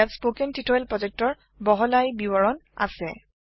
ইয়াত spoken tutorial প্ৰজেক্টৰ বহলাই বিবৰণ আছে